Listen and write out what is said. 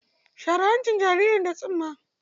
Share hancin jaririrn da tsumma.